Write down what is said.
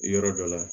Yɔrɔ dɔ la